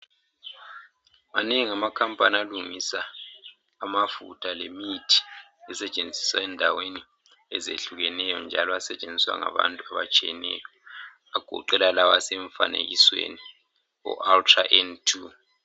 Manengi amakhampani alungisa amafutha lemithi esetshenziswa endaweni ezehlukeneyo njalo asetshenziswa ngabantu abatshiyeneyo agoqela lawa asemifanekisweni oUltra N2.